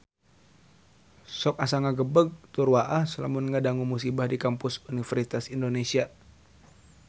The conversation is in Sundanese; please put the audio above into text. Sok asa ngagebeg tur waas lamun ngadangu musibah di Kampus Universitas Indonesia